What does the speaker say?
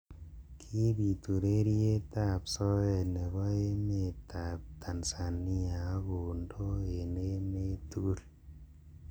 Kibit ureriet ab soet nebo emet ab Tanzania ak kondo eng emet tugul.